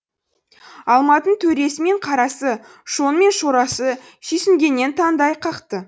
алматын төресі мен қарасы шоңы мен шорасы сүйсінгеннен таңдай қақты